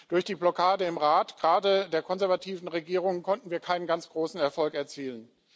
Durch die Blockade im Rat gerade der konservativen Regierungen konnten wir keinen ganz großen Erfolg erzielen.